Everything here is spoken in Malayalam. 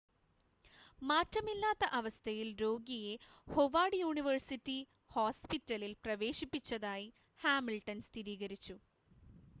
മാറ്റമില്ലാത്ത അവസ്ഥയിൽ രോഗിയെ ഹൊവാർഡ് യൂണിവേഴ്സിറ്റി ഹോസ്‌പിറ്റലിൽ പ്രവേശിപ്പിച്ചതായി ഹാമിൽട്ടൺ സ്ഥിരീകരിച്ചു